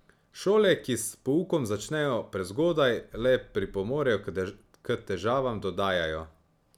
Šole, ki s poukom začnejo prezgodaj, le pripomorejo k težavam, dodajajo.